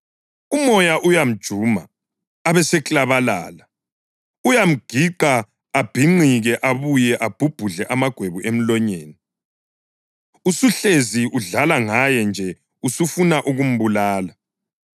Umoya uyamjuma abeseklabalala; uyamgiqa abhinqike abuye abhubhudle amagwebu emlonyeni. Usuhlezi udlala ngaye nje usufuna ukumbulala.